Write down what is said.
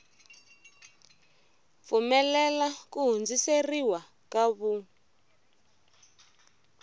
pfumelela ku hundziseriwa ka vun